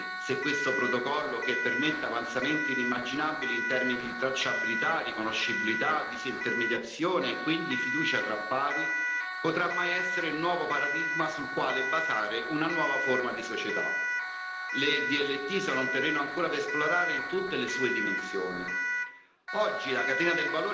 Nessuno è in grado di dire oggi se questo protocollo che permette avanzamenti inimmaginabili in termini di tracciabilità, riconoscibilità, disintermediazione e quindi fiducia tra pari, potrà mai essere il nuovo paradigma sul quale basare una nuova forma di società le DLT sono un terreno ancora da esplorare in tutte le sue dimensioni.